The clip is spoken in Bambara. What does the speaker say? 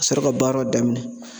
Ka sɔrɔ ka baara daminɛ